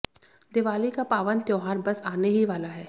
दीवाली का पावन त्योहार बस आने ही वाला है